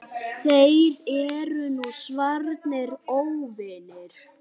Þeir eru nú svarnir óvinir.